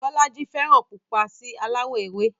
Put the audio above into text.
Bọ́lájí fẹ́ràn pupa sí aláwọ̀ ewé